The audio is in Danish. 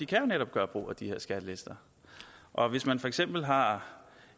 kan jo netop gøre brug af de her skattelister og hvis man for eksempel har